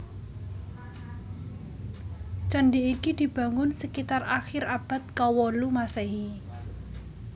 Candi iki dibangun sekitar akhir abad kawolu Maséhi